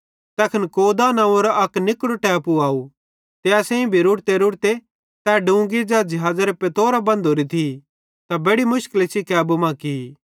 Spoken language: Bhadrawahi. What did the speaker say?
तैखन कौदा नंव्वेरो अक निकड़ो टैपू आव त असेईं भी रुड़तेरुड़ते तै डुंगी ज़ै ज़िहाज़ेरे पत्तोरां बंधोरी थी त बेड़ि मुशकली सेइं कैबू मां की